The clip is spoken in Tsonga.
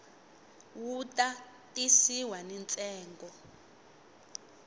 wu ta tisiwa ni ntsengo